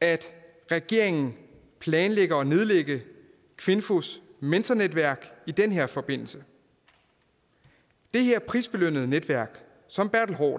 at regeringen planlægger at nedlægge kvinfos mentornetværk i den her forbindelse det her prisbelønnede netværk som